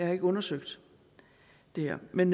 har ikke undersøgt det her men